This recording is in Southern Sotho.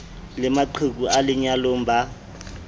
le maqheku a lenyalong ba